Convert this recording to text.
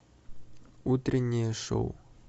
утреннее шоу